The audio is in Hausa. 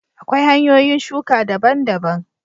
Akwai hanyoyin shuka daban daban